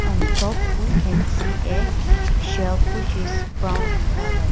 on top we can see a shelf which is brown in colour.